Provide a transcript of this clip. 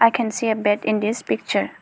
i can see a bed in this picture.